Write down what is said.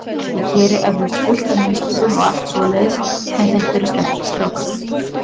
Ég geri eflaust fullt af mistökum og allt svoleiðis en þetta eru sterkir strákar.